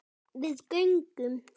Við göngum